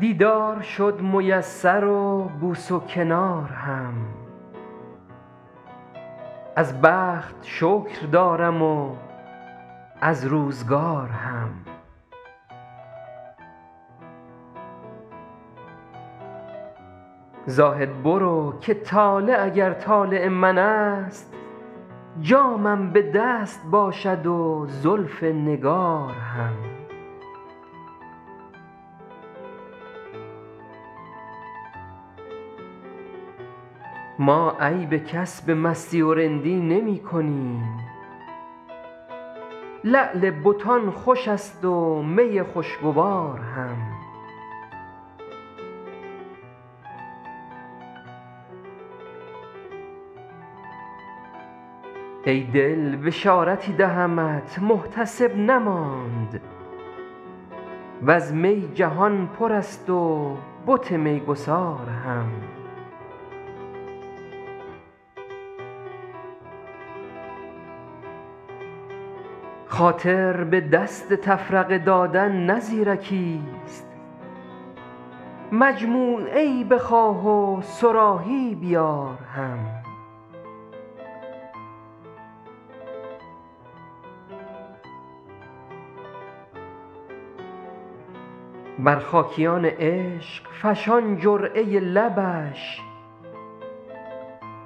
دیدار شد میسر و بوس و کنار هم از بخت شکر دارم و از روزگار هم زاهد برو که طالع اگر طالع من است جامم به دست باشد و زلف نگار هم ما عیب کس به مستی و رندی نمی کنیم لعل بتان خوش است و می خوشگوار هم ای دل بشارتی دهمت محتسب نماند و از می جهان پر است و بت میگسار هم خاطر به دست تفرقه دادن نه زیرکیست مجموعه ای بخواه و صراحی بیار هم بر خاکیان عشق فشان جرعه لبش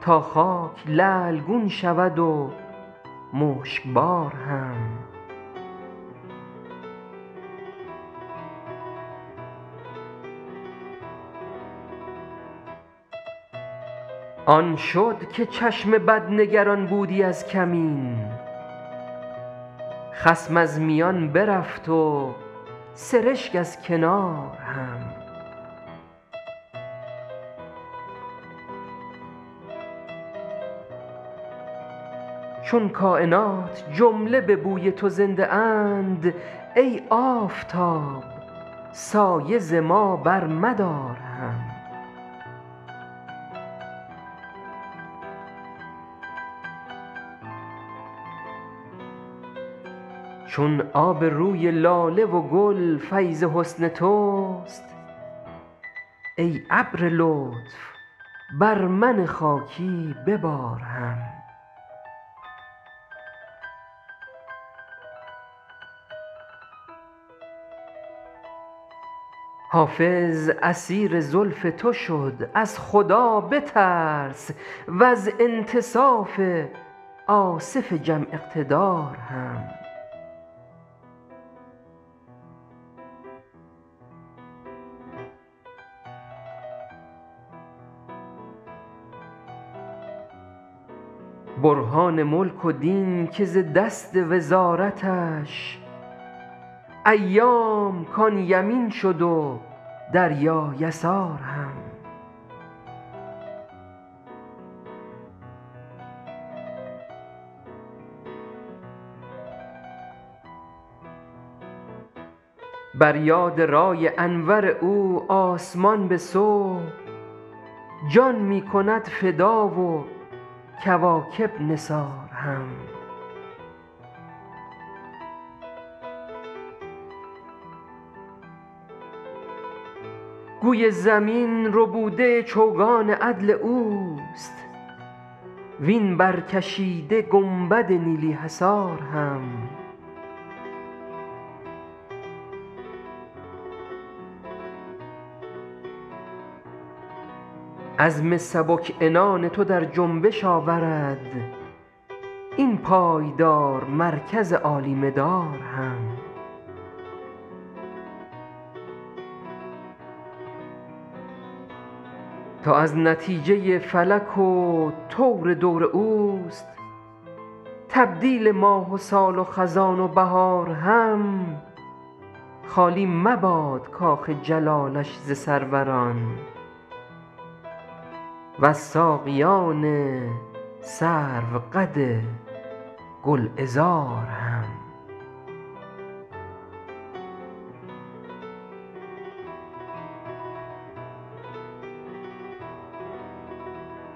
تا خاک لعل گون شود و مشکبار هم آن شد که چشم بد نگران بودی از کمین خصم از میان برفت و سرشک از کنار هم چون کاینات جمله به بوی تو زنده اند ای آفتاب سایه ز ما برمدار هم چون آب روی لاله و گل فیض حسن توست ای ابر لطف بر من خاکی ببار هم حافظ اسیر زلف تو شد از خدا بترس و از انتصاف آصف جم اقتدار هم برهان ملک و دین که ز دست وزارتش ایام کان یمین شد و دریا یسار هم بر یاد رای انور او آسمان به صبح جان می کند فدا و کواکب نثار هم گوی زمین ربوده چوگان عدل اوست وین برکشیده گنبد نیلی حصار هم عزم سبک عنان تو در جنبش آورد این پایدار مرکز عالی مدار هم تا از نتیجه فلک و طور دور اوست تبدیل ماه و سال و خزان و بهار هم خالی مباد کاخ جلالش ز سروران و از ساقیان سروقد گلعذار هم